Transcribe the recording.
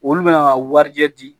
Olu bɛna warijɛ di